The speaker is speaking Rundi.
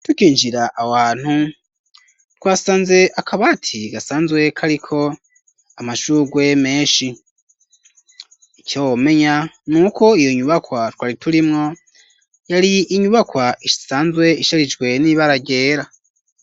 Tukinjira aho ahantu twasanze akabati gasanzwe kariko amashururwe meshi ico womenya nuko iyo nyubakwa twari turimwo yari inyubakwa isanzwe isharijwe n'ibara ryera.